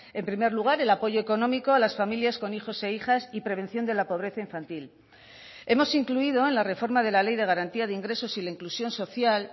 en primer lugar el apoyo económico a las familias con hijos e hijas y prevención de la pobreza infantil hemos incluido en la reforma de la ley de garantía de ingresos y la inclusión social